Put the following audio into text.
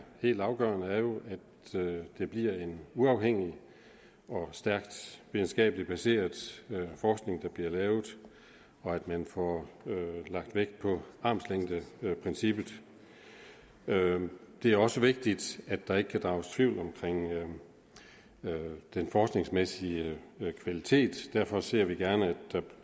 helt afgørende er at det bliver en uafhængig og stærkt videnskabelig baseret forskning der bliver lavet og at man får lagt vægt på armslængdeprincippet det er også vigtigt at der ikke kan drages tvivl om den forskningsmæssige kvalitet derfor ser vi gerne at der